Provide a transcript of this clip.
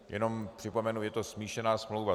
Jenom připomenu, je to smíšená smlouva.